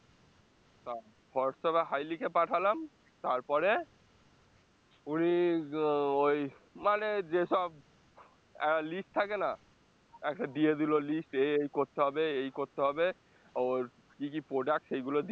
তা হোয়াটস্যাপে hi লিখে পাঠালাম তারপরে কুড়ি ওই মানে যেসব আহ list থাকে না একটা দিয়ে দিলো list এই এই করতে হবে এই করতে হবে ওর কি কি product সেইগুলো দিয়ে